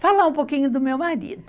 Falar um pouquinho do meu marido.